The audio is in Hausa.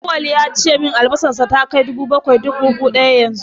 Auwal ya ce min albasarsa ta kai dubu bakwai duk buhu ɗaya yanzu.